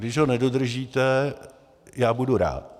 Když ho nedodržíte, já budu rád.